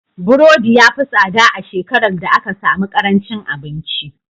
Burodi ya fi tsada a shekarar da aka sami ƙarancin abinci.